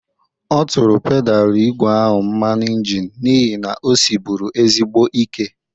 Ọ tụrụ pedalụ igwe a mmanụ ịnjịnị n'ihi na o siribụru ezigbo ike.